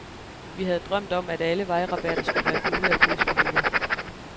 Vi havde drømt om, at alle vejrabatter skulle være gule af påskeliljer.